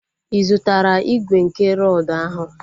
Ị zụtara igwe nke rọdu ahụ?